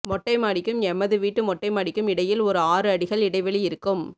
மொட்டைமாடிக்கும் எமது வீட்டு மொட்டைமாடிக்கும் இடையில் ஒரு ஆறு அடிகள் இடைவெளி இருக்கும்